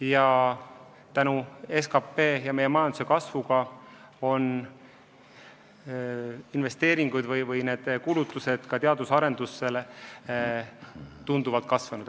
Ja tänu SKP ja meie majanduse kasvule on kulutused ka teadus-arendustööle tunduvalt kasvanud.